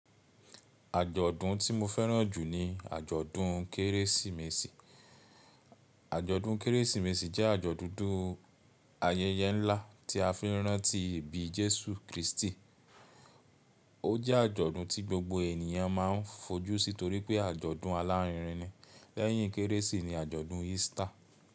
Àjọ̀dún tí mo fẹ́ràn jù ni àjọ̀dún Kérésìmesì. Àjọ̀dún Kérésìmesì jẹ́ àjọ̀dún ayẹyẹ ńlá tí a fi ń rántí ìbí Jésù Kristi. Ó jẹ́ àjọ̀dún tí gbogbo ènìyàn máa ń fojú sí torí pé àjọ̀dún alárinrin ni. Lẹ́yìn Kérésì ni àjọ̀dún Easter.